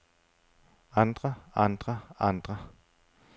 andre andre andre